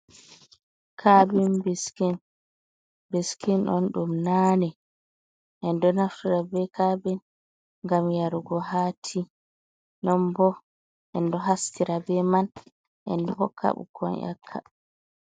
Kaabin biskin, biskin on ɗum naane, en ɗo naftura be kabin gam yarugo ha ti, non bo en ɗo hastira be man en ɗo hoka ɓukkon nyakka.